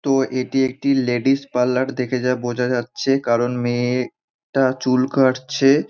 তো এটি একটি লেডিস পার্লার দেখে যা বোঝা যাচ্ছে কারণ মেয়ে টা চুল কাটছে।